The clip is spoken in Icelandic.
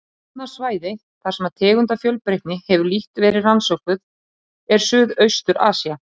Annað svæði, þar sem tegundafjölbreytni hefur lítt verið rannsökuð, er Suðaustur-Asía.